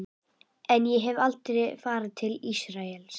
En ég hef aldrei farið til Ísraels.